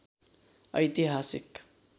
ऐतिहासिक